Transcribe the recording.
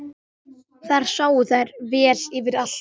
Þar sáu þær vel yfir allt.